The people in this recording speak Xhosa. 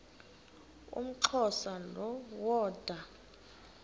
umxhosa lo woda